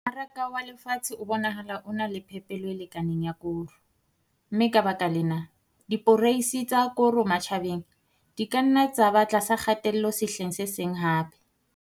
Mmaraka wa lefatshe o bonahala o na le phepelo e lekaneng ya koro, mme ka baka lena, diporeisi tsa koro matjhabeng di ka nna tsa ba tlasa kgatello sehleng se seng hape.